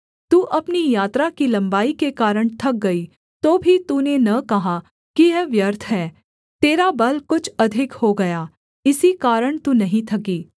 तू अपनी यात्रा की लम्बाई के कारण थक गई तो भी तूने न कहा कि यह व्यर्थ है तेरा बल कुछ अधिक हो गया इसी कारण तू नहीं थकी